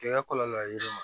Kɛ ka kɔlɔlɔ ye yiri ma